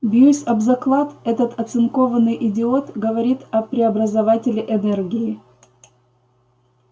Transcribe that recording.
бьюсь об заклад этот оцинкованный идиот говорит о преобразователе энергии